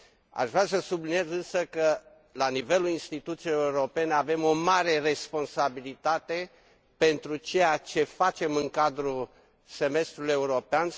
Aș vrea să subliniez, însă, că, la nivelul instituțiilor europene, avem o mare responsabilitate pentru ceea ce facem în cadrul semestrului european.